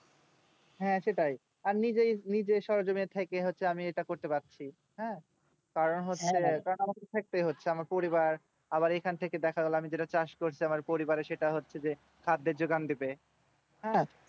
হ্যাঁ সেটাই আর নিজের সজনে থেকে হচ্ছে আমি এটা করতে পারছি হ্যাঁ affected হচ্ছে আমার পরিবার আবার এখন থেকে দেখা গেল আমি চাষ করতে হয় পরিবারের সেটা হচ্ছে যে খাদের যোগান দেবে হ্যাঁ